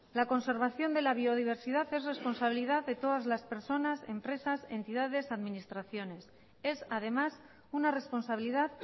la conservación de la biodiversidad es responsabilidad de todas las personas empresas entidades administraciones es además una responsabilidad